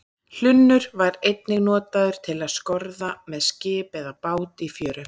hlunnur var einnig notaður til að skorða með skip eða bát í fjöru